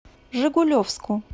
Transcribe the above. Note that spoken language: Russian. жигулевску